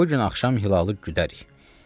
bu gün axşam hilalı güdək.